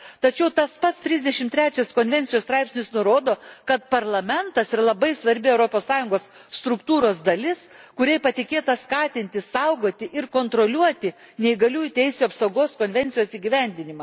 Tačiau tas pats 33 Konvencijos straipsnis nurodo, kad Parlamentas yra labai svarbi Europos Sąjungos struktūros dalis, kuriai patikėta skatinti, saugoti ir kontroliuoti Neįgaliųjų teisių apsaugos konvencijos įgyvendinimą.